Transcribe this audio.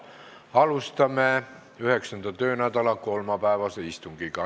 Alustame 9. töönädala kolmapäevast istungit.